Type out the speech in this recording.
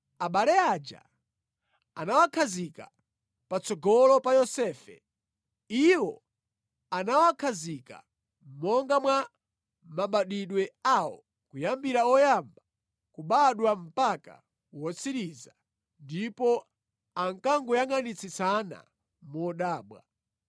Abale aja anawakhazika patsogolo pa Yosefe. Iwo anawakhazika monga mwa mabadwidwe awo kuyambira woyamba kubadwa mpaka wotsirizira; ndipo ankangoyangʼanitsitsana modabwa.